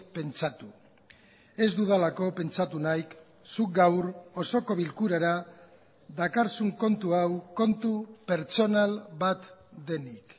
pentsatu ez dudalako pentsatu nahi zuk gaur osoko bilkurara dakarzun kontu hau kontu pertsonal bat denik